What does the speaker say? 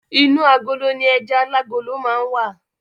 Inú agolo ni ẹja alágolo máa n wa.